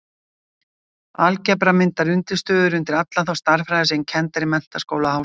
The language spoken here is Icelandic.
Algebra myndar undirstöður undir alla þá stærðfræði sem kennd er í menntaskóla og háskóla.